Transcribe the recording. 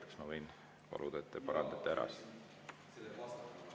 Kas ma võin paluda, et te parandate selle ära?